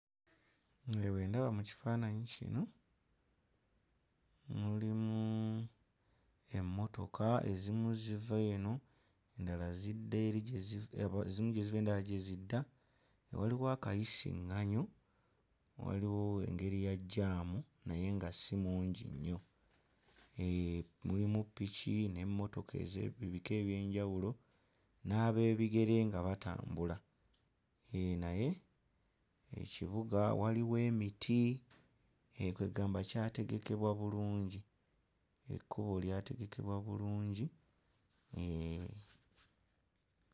Nze bwe ndaba mu kifaananyi kino mulimu emmotoka, ezimu ziva eno, endala zidda eri gye zi... ezimu gye ziva, endala gye zidda. Waliwo akayisiŋŋanyo, waliwo engeri ya jjaamu naye nga si mungi nnyo, eeh mulimu piki n'emmotoka ez'ebika eby'enjawulo n'abeebigere nga batambula. Eeh naye ekibuga waliwo emiti, eeh kwe ggamba kyategekebwa bulungi, ekkubo lyategekebwa bulungi, eeh.